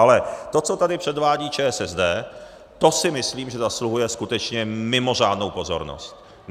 Ale to, co tady předvádí ČSSD, to si myslím, že zasluhuje skutečně mimořádnou pozornost.